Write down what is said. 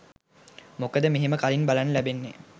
මොකද මෙහෙම කලින් බලන්න ලැබෙන්නේ